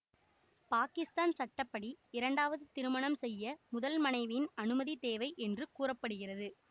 பாகிஸ்தான் சட்ட படி இரண்டாவது திருமணம் செய்ய முதல் மனைவியின் அனுமதி தேவை என்று கூற படுகிறது